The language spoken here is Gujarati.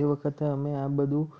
એ વખતે અમે આ બધું